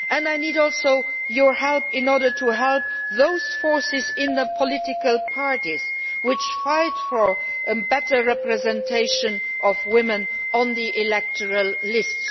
I also need your help in order to help those forces in the political parties which fight for a better representation of women on the electoral